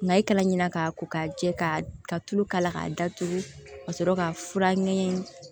N'a ye kala ɲina k'a ko k'a jɛ ka tulu k'a la k'a datugu ka sɔrɔ ka fura ɲɛgɛn